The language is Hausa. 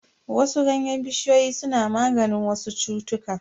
Wasu ganyen bishiyoyi suna maganin wasu cutuka.